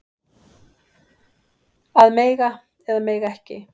Að mega eða mega ekki